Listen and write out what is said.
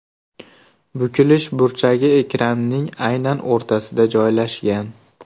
Bukilish burchagi ekranning aynan o‘rtasida joylashgan.